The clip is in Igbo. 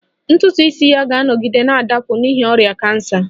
Ntutu isi ya ga-anọgide na-adapụ n'ihi ọrịa kansa